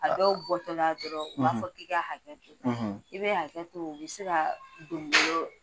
A dɔw bɔtɔla dɔrɔn u b'a fɔ k'i ka hakɛ to i bɛ hakɛ to u bɛ se ka donbolo